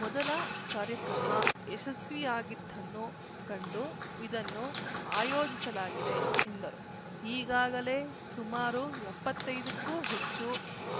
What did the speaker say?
ಮೊದಲ ಕಾರ್ಯಕ್ರಮ ಯಶಸ್ವಿಯಾಗಿದ್ದನ್ನು ಕಂಡು ಇದನ್ನು ಆಯೋಜಿಸಲಾಗಿದೆ ಎಂದರು ಈಗಾಗಲೇ ಸುಮಾರು ಎಪ್ಪತ್ತೈದಕ್ಕೂ ಹೆಚ್ಚು